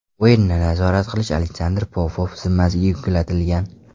O‘yinni nazorat qilish Aleksandr Popov zimmasiga yuklatilgan.